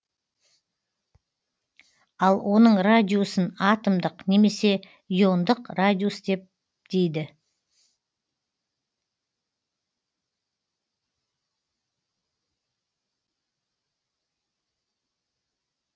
ал оның радиусын атомдық немесе иондық радиус дейді